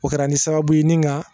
O kɛra ni sababu ye ni nka